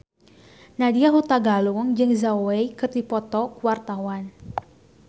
Nadya Hutagalung jeung Zhao Wei keur dipoto ku wartawan